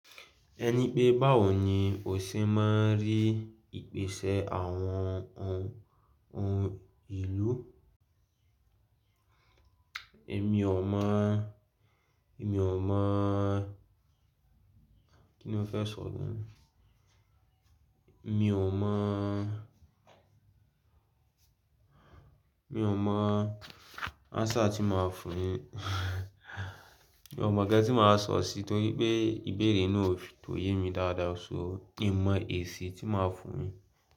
Ẹni pé báwo ni o ṣe máa rí ìpèsè àwọn ohun ohun ìlú? Èmi ò mọ̀, èmi ò mọ̀, kí ni o fẹ́ sọ gan? Èmi ò mọ̀, èmi ò mọ̀ answer tí máa fún un yín, èmi ò mọ̀ nkan tí máa sọ̀ sí, torí pé ìbéèrè náà kò yé mi dáadáa, ṣo n mọ èsì tí máa fún un yín.